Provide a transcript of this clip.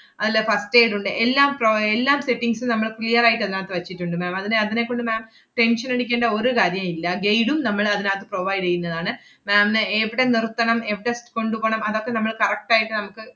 അതിലെ first aid ഉണ്ട്. എല്ലാം pro~ എല്ലാ settings ഉം നമ്മള് clear ആയിട്ട് അതിനാത്ത് വച്ചിട്ടുണ്ട് ma'am അതിനെ അതിനെ കൊണ്ട് ma'am tension അടിക്കേണ്ട ഒരു കാര്യോവില്ല. guide ഉം നമ്മൾ അതിനാത്ത് provide എയ്യുന്നതാണ്. ma'am ന് എവിടെ നിർത്തണം എവിടെ കൊണ്ടുപോണം അതൊക്കെ നമ്മള് correct ആയിട്ട് നമ്മക്ക്,